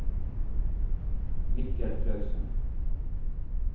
Mikkel Clausen